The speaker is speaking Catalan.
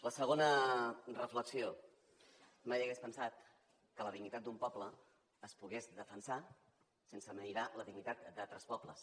la segona reflexió mai hauria pensat que la dignitat d’un poble es pogués defensar sense mirar la dignitat d’altres pobles